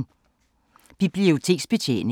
Biblioteksbetjening